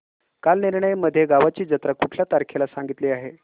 कालनिर्णय मध्ये गावाची जत्रा कुठल्या तारखेला सांगितली आहे